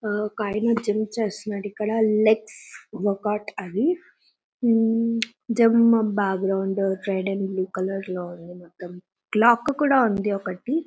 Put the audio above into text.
ఒకాయన జిమ్ చేస్తున్నారు ఇక్కడ లెగ్స్ వర్కౌట్ అన్ని hmm gym background trading blue colour లో మొత్తం క్లోక్ కూడా ఉంది ఒకటి.